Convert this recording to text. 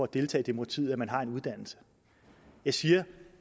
deltage i demokratiet at man har en uddannelse jeg siger at